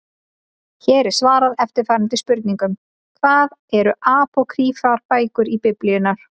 Hér er svarað eftirfarandi spurningum: Hvað eru apókrýfar bækur Biblíunnar?